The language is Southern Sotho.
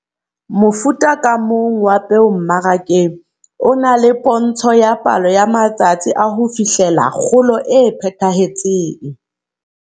Mofuta ka mong wa peo mmarakeng o na le pontsho ya palo ya matsatsi a ho fihlela kgolo e phethahetseng.